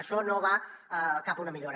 això no va cap a una millora